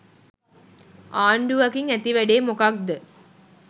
ආණ්ඩුවකින් ඇති වැඩේ මොකක්ද?